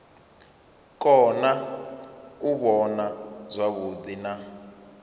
kona u vhona zwavhuḓi na